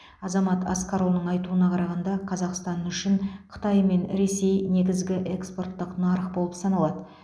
азамат асқарұлының айтуына қарағанда қазақстан үшін қытай мен ресей негізгі экспорттық нарық болып саналады